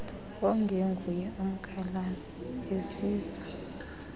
ongenguye umkhalazi ezisa